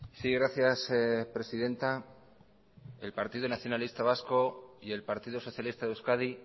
sí gracias presidenta el partido nacionalista vasco y el partido socialista de euskadi